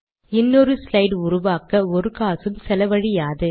இன்னொரு ஸ்லைட் உருவாக்க ஒரு காசும் செலவழியாது